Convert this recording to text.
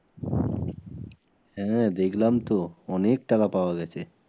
হ্যাঁ দেখলাম তো অনেক টাকা পাওয়া গেছে।